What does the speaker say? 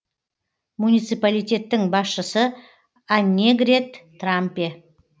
муниципалитеттің басшысы аннегрет трампе